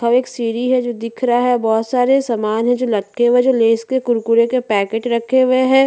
और एक सीढ़ी है जो दिख रहा है बहोत सारे सामान है जो लटके हुए है जो लैस के कुरकुरे के पैकेट रखे हुए है।